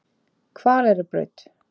Hvaleyrarbraut